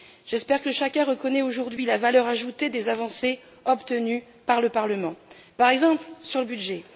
J'espère que chacun reconnaît aujourd'hui la valeur ajoutée des avancées obtenues par le Parlement, par exemple sur le budget.